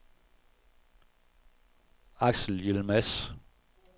Axel Yilmaz